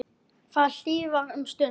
Það hlýjar um stund.